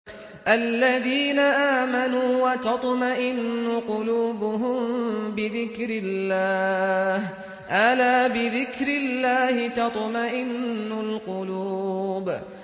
الَّذِينَ آمَنُوا وَتَطْمَئِنُّ قُلُوبُهُم بِذِكْرِ اللَّهِ ۗ أَلَا بِذِكْرِ اللَّهِ تَطْمَئِنُّ الْقُلُوبُ